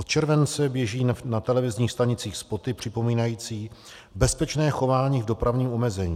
Od července běží na televizních stanicích spoty připomínající bezpečné chování v dopravním omezení.